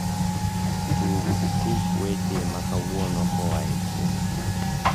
tugu tuk weche makauono koae kuoma